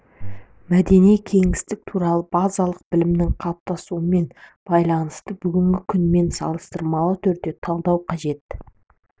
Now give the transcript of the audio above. мәдени кеңістік туралы базалық білімнің қалыптасуымен байланысты бүгінгі күнмен салыстырмалы түрде талдау қажет